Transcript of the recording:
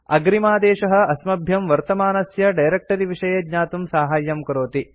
अग्रिमादेशः अस्मभ्यं वर्तमानस्य डायरेक्ट्री विषये ज्ञातुं साहाय्यं करोति